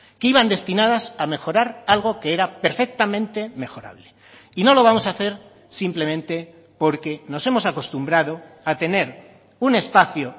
que iban destinadas a mejorar algo que era perfectamente mejorable y no lo vamos a hacer simplemente porque nos hemos acostumbrado a tener un espacio